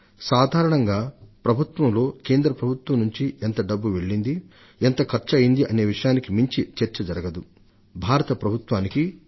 సాధారణంగా అటువంటి చర్చలు కేంద్ర ప్రభుత్వం రాష్ట్రాల వారీగా ఎంత డబ్బును మంజూరు చేసింది ప్రతి రాష్ట్రం ఎంత డబ్బును ఖర్చు పెట్టిందనే విషయానికి మించి సాగవు